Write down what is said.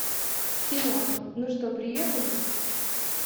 в кино ну что приехали